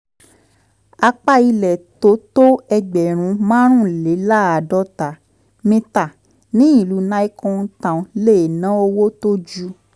apá ilẹ̀ tó tó ẹgbẹ̀rún márùnléláàádọ́ta mítà ní ìlú nicon town lè ná owó tó ju